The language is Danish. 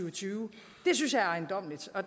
og tyve det synes jeg er ejendommeligt